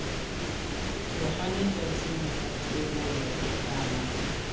tloga letsatsing la thebolo kana